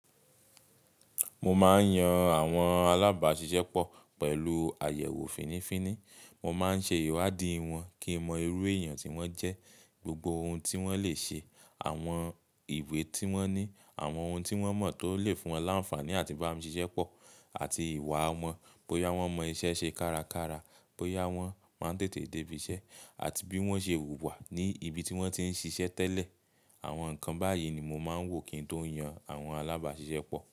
Mo máa ń yan àwọn alábàáṣiṣẹ́ pọ̀ pẹ̀lú àyẹ̀wò fínnífínní. Mo máa ń ṣe ìwádìí wọn kí n mọ irú èèyàn tí wọ́n jẹ́, gbogbo ohun tí wọ́n lè ṣe, àwọn ìwé tí wọ́n ní, àwọn ohun tí wọ́n mọ̀ tó lè fún wọn láǹfààní àti bá mi ṣiṣẹ́ pọ̀, àti ìwà wọn, bóyá wọ́n mọ iṣẹ́ ṣe kárakára, bóyá wọ́n máa ń tètè dé ibi iṣẹ́, àti bí wọ́n ṣe wùwà ní ibi tí wọ́n ti ń ṣiṣẹ́ tẹ́lẹ̀. Àwọn nǹkan báyìí ni mo máa ń wò kí n tó yan àwọn alábàáṣiṣẹ́ pọ̀